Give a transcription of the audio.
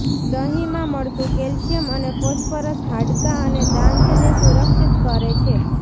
દહીંમાં મળતું કેલ્શિયમ અને ફોસ્ફરસ હાડકાં અને દાંતને સુરક્ષિત કરે છે